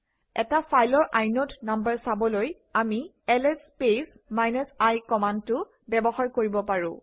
এটা ফাইলৰ inode number চাবলৈ আমি এলএছ স্পেচ -i কমাণ্ডটো ব্যৱহাৰ কৰিব পাৰোঁ